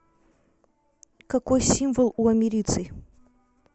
какой символ у америций